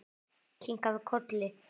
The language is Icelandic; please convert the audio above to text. Kinkað kolli.